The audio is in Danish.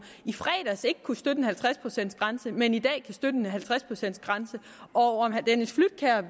i fredags ikke kunne støtte en halvtreds procents grænse men i dag kan støtte en halvtreds procents grænse